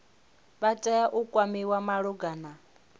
vha tea u kwamiwa malugana